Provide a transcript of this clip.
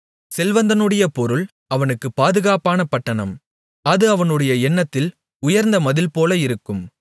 செல்வந்தனுடைய பொருள் அவனுக்கு பாதுகாப்பான பட்டணம் அது அவனுடைய எண்ணத்தில் உயர்ந்த மதில்போல இருக்கும்